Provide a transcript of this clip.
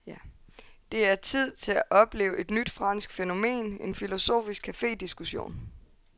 Det er tid til at opleve et nyt fransk fænomen, en filosofisk cafediskussion.